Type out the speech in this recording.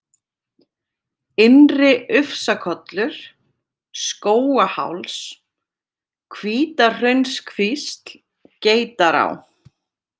Innri-Ufsakollur, Skógaháls, Hvítahraunskvísl, Geitará